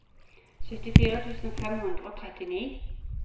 syttifire tusen fem hundre og trettini